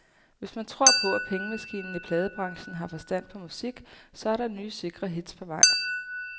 Hvis man tror på, at pengemaskinen i pladebranchen har forstand på musik, så er der nye sikre hits på vej.